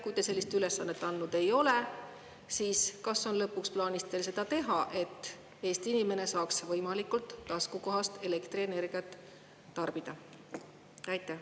Kui te sellist ülesannet andnud ei ole, siis kas lõpuks on plaanis teil seda teha, et Eesti inimene saaks võimalikult taskukohast elektrienergiat tarbida?